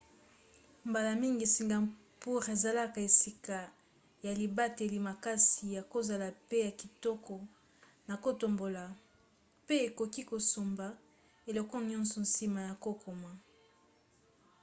mbala mingi singapour ezalaka esika ya libateli makasi ya kozala pe ya kitoko na kotambola pe okoki kosomba eloko nyonso nsima ya kokoma